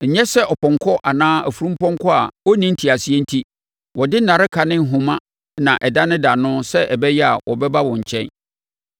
Nyɛ sɛ ɔpɔnkɔ anaa afunumpɔnkɔ a ɔnni nteaseɛ enti wɔde nnareka ne ahoma na ɛdanedane no sɛ ɛbɛyɛ a wɔbɛba wo nkyɛn.